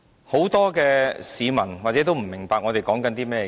很多市民或許不明白我們在說甚麼。